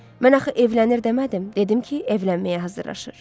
Mən axı evlənir demədim, dedim ki, evlənməyə hazırlaşır.